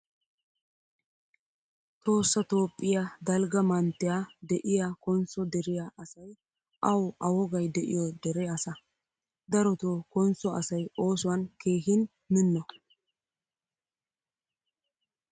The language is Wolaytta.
Tohossa toophphiyaa dalgga manttiyaa de'iyaa konso deriyaa asay awu a wogaay de'iyo dere asaa. Daroto konso asay oosuwan keehin minno.